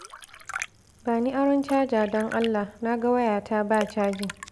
Ba ni aron caja don Allah, na ga wayata ba caji